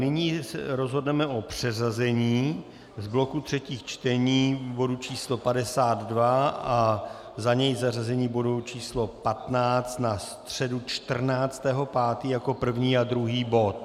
Nyní rozhodneme o přeřazení z bloku třetích čtení bodu číslo 52 a za něj zařazení bodu číslo 15 na středu 14. 5. jako první a druhý bod.